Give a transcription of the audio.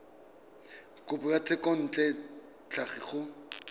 kopo ya thekontle tlhapi go